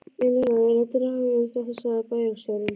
Eina ráðið er að draga um þetta sagði bæjarstjórinn.